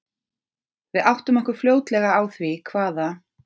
Við áttum okkur fljótlega á því hvaða